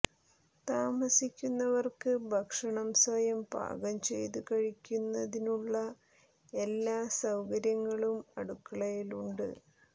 താമസിക്കുന്നവർക്ക് ഭക്ഷണം സ്വയം പാകം ചെയ്തു കഴിക്കുന്നതിനുള്ള എല്ലാവിധ സൌകര്യങ്ങളും അടുക്കളയിലുണ്ട്